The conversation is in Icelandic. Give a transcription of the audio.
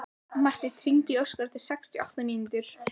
Marten, hringdu í Óskar eftir sextíu og átta mínútur.